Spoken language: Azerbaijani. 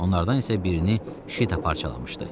Onlardan isə birini Şita parçalamışdı.